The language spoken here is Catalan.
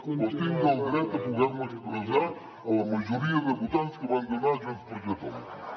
però tinc el dret a poder me expressar a la majoria de votants que van donar el vot a junts per catalunya